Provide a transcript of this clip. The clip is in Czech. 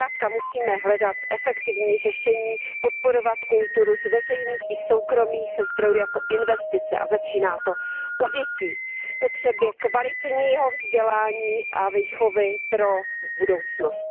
Zkrátka musíme hledat efektivní řešení, podporovat kulturu z veřejných i soukromých zdrojů jako investici a začíná to u dětí v potřebě kvalitního vzdělání a výchovy pro budoucnost.